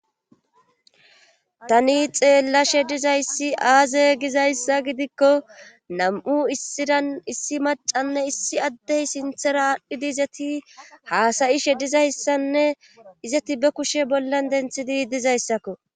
tani xeella she dizayssi aaze gizayssa gidikko nam7u issiran issi macanne issi addey sinthera aadhdhidi izati haasayi shedizayssanne izati be kushe bollan denthidi dizayssakko